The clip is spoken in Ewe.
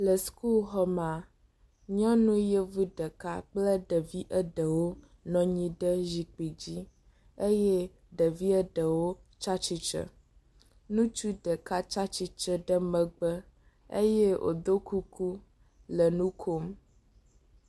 Le sukuxɔ mea, nyɔnu yevu ɖeka kple ɖevi aɖewo nɔ anyi ɖe zikpui dzi eye ɖevi eɖewo tsatsitre, ŋutsu ɖeka tsatsitre ɖe megbe eye wodo kuku le nu kom.